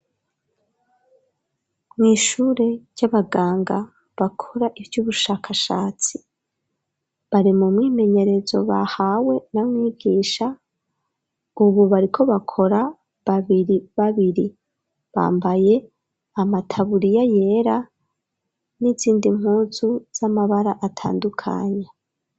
Mwishure ry'abaganga , bakora ivy'ubushakashatsi , bari mu mwimenyerezo bahawe na mwigisha , ubu bariko bakora babiri babiri , bambaye amataburiya yera , n'izindi mpuzu z'amabara atandukanya.